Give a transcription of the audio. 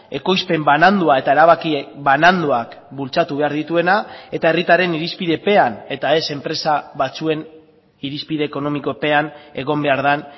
ekoizpen banandua eta erabaki bananduak bultzatu behar dituena eta herritarren irizpidepean eta ez enpresa batzuen irizpide ekonomikopean egon behar den